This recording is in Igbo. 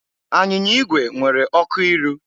Anyịnya igwe nwere ọkụ iru.